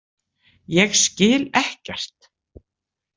Ég skil ekkert.